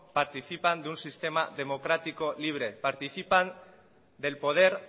participan de un sistema democrático libre participan del poder